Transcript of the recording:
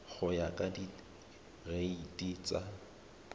go ya ka direiti tsa